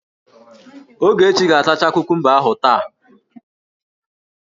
Ogechi ga-atacha kukumba ahụ taa!